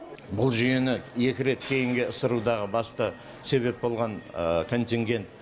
бұл жүйені екі рет кейінге ысырудағы басты себеп болған контингент